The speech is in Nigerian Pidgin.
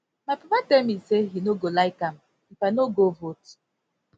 my papa tell me say he no go like am if i no go vote